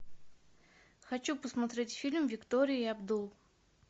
хочу посмотреть фильм виктория и абдул